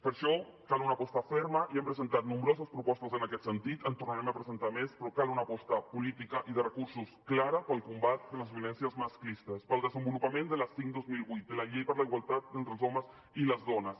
per això cal una aposta ferma i hem presentat nombroses propostes en aquest sentit en tornarem a presentar més però cal una aposta política i de recursos clara per al combat de les violències masclistes per al desenvolupament de la cinc dos mil divuit de la llei per la igualtat entre els homes i les dones